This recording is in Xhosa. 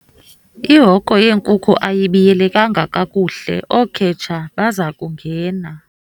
Ihoko yeenkuku ayibiyelekanga kakuhle ookhetshe baza kungena.